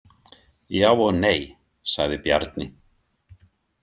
Já og nei, sagði Bjarni.